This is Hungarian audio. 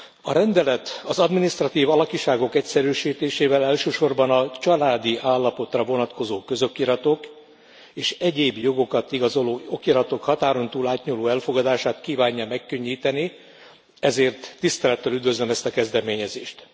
A rendelet az adminisztratív alakiságok egyszerűsítésével elsősorban a családi állapotra vonatkozó közokiratok és egyéb jogokat igazoló okiratok határon túl átnyúló elfogadását kívánja megkönnyíteni, ezért tisztelettel üdvözlöm ezt a kezdeményezést.